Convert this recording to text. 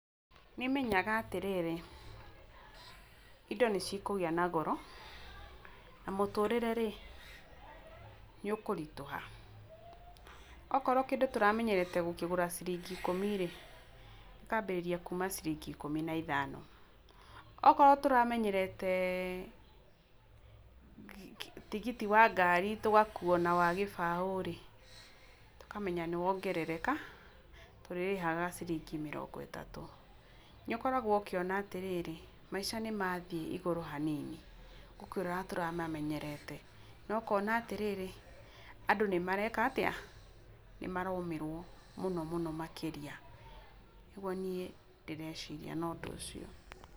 Nĩmenyaga atĩrĩrĩ, indo nĩcikũgĩa na goro, na mũtũrĩre-rĩ, nĩ ũkũritũha. Okorwo kĩndũ tũramenyerete gũkĩgũra ciringi ikũmi-rĩ, gĩkambĩrĩria kuuma ciringi ikũmi na ithano, okorwo tũramenyerete tigiti wa ngari tũgakuo na wa gĩbaũ-rĩ, tũkamenya nĩwongerereka, tũrĩrĩhaga ciringi mĩrongo ĩtatũ. Nĩũkoragwo ũkĩona atĩrĩrĩ, maica nĩmathiĩ igũrũ hanini gũkĩra ũrĩa tũramamenyerete no ũkona atĩrĩrĩ andũ nĩmareka atia? Nĩ maromĩrwo mũno mũno makĩria. Nĩguo niĩ ndĩreciria no ũndũ ũcio.